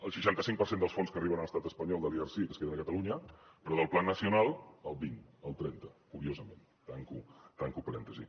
el seixanta cinc per cent dels fons que arriben a l’estat espanyol de l’erc es queden a catalunya però del plan nacional el vint el trenta curiosament tanco parèntesi